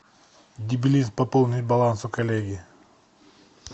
дебилизм пополнить баланс у коллеги